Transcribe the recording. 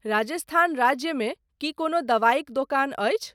राजस्थान राज्य मे की कोनो दवाइक दोकान अछि ?